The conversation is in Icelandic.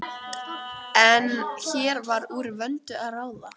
En hér var úr vöndu að ráða.